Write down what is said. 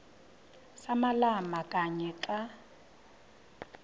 samalama kanye xa